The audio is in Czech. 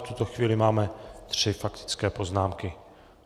V tuto chvíli máme tři faktické poznámky.